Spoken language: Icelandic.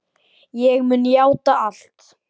Ég mun játa allt.